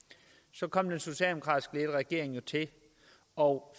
så kom den socialdemokratisk ledede regering til og